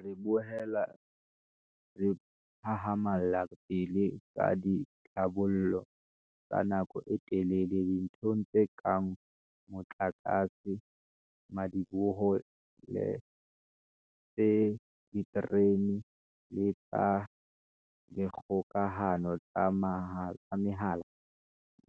Re boela re hahama lla pele ka ditlhabollo tsa nako e telele dinthong tse kang mo tlakase, madiboho le tsa diterene le tsa dikgokahano tsa mehala,